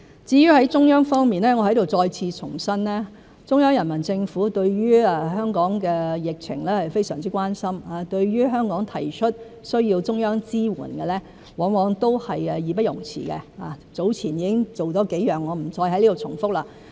至於在中央方面，我在此再次重申，中央人民政府對於香港的疫情是非常關心，對於香港提出需要中央支援，往往都是義不容辭，早前已經做了幾項工作，我不再在此重複。